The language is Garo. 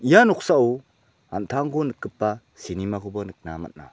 ia noksao an·tangko nikgipa cinema-koba nikna man·a.